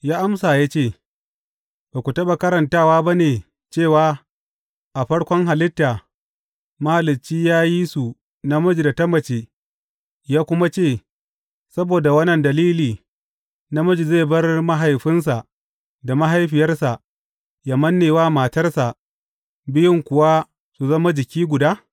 Ya amsa ya ce, Ba ku taɓa karantawa ba ne cewa, a farkon halitta, Mahalicci ya yi su namiji da ta mace,’ ya kuma ce, Saboda wannan dalili, namiji zai bar mahaifinsa da mahaifiyarsa yă manne wa matarsa, biyun kuwa su zama jiki guda’?